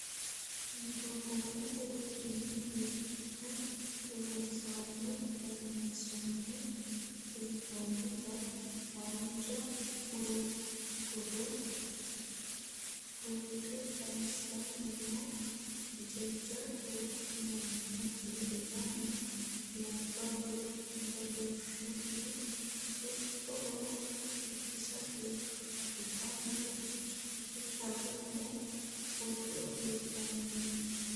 Gobbate deerrinni mixine loonsanni kayinsanni hee'nonnitta haanja muro gado fulte kayisani no jajjabbu mannoti lamu labbalu badhessani huxaho irkisate kaa'lanohu caru no ado fulanohu.